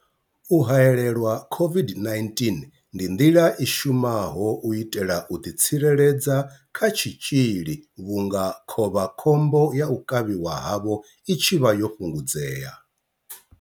U haelelwa COVID-19 ndi nḓila i shumaho u itela u ḓitsireledza kha tshitzhili vhunga khovha khombo ya u kavhiwa havho i tshi vha yo fhungudzea.